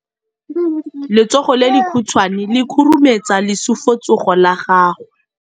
Letsogo le lekhutshwane le khurumetsa lesufutsogo la gago.